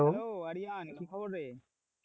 Hello Aryan কি খবর রে,